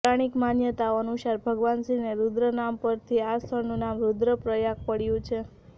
પૌરાણિક માન્યતાઓ અનુસાર ભગવાન શિવને રૂદ્ર નામ પરથી આ સ્થળનું નામ રૂદ્રપ્રયાગ પડ્યુ છે